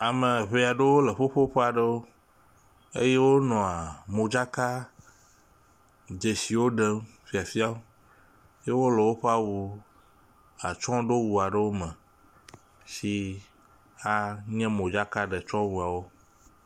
Ame ŋee aɖewo le ƒuƒoƒe aɖewo eye wonɔa modzaka dzesiwo ɖem fiafiam eye wole awu atsyɔɖowu aɖewo me si anya modzakaɖetsɔwuawo.